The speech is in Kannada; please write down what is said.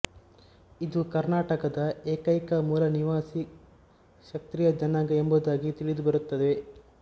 ಇದು ಕರ್ನಾಟಕದ ಏಕೈಕ ಮೂಲನಿವಾಸಿ ಕ್ಷತ್ರಿಯ ಜನಾಂಗ ಎಂಬುದಾಗಿ ತಿಳಿದುಬರುತ್ತದೆ